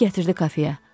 Məni gətirdi kafeyə.